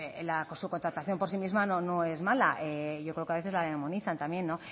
la subcontratación por sí misma no es mala yo creo que a veces la demonizan también no